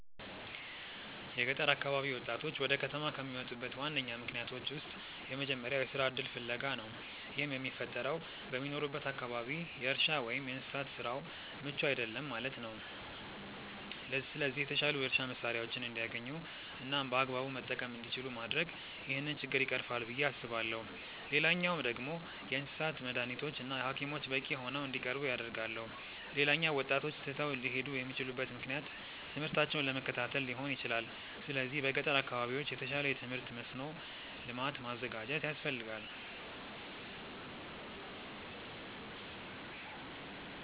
የገጠር አካባቢ ወጣቶች ወደ ከተማ ከሚመጡበት ዋነኛ ምክንያቶች ውስጥ የመጀመሪያው የስራ እድል ፍለጋ ነው። ይህም የሚፈጠረው በሚኖሩበት አካባቢ የእርሻ ወይም የእንስሳት ስራው ምቹ አይደለም ማለት ነው። ስለዚህ የተሻሉ የእርሻ መሳሪያዎችን እንዲያገኙ እናም በአግባቡ መጠቀም እንዲችሉ ማድረግ ይህንን ችግር ይቀርፋል ብዬ አስባለሁ። ሌላኛው ደግሞ የእንስሳት መዳኒቶች እና ሀኪሞች በቂ ሆነው እንዲቀርቡ አደርጋለሁ። ሌላኛው ወጣቶች ትተው ሊሄዱ የሚችሉበት ምክንያት ትምህርታቸውን ለመከታተል ሊሆን ይችላል። ስለዚህ በገጠር አካባቢዎች የተሻለ የትምህርት መስኖ ልማት ማዘጋጀት ያስፈልጋል።